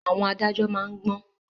Àwọn adájọ́ má ń gbọ́n